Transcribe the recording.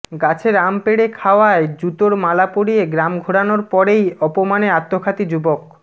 গাছের আম পেড়ে খাওয়ায় জুতোর মালা পরিয়ে গ্রাম ঘোরানোর পরেই অপমানে আত্মঘাতী যুবক